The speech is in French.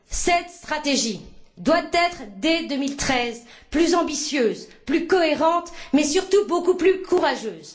Cette stratégie doit être, dès 2013, plus ambitieuse, plus cohérente mais surtout beaucoup plus courageuse.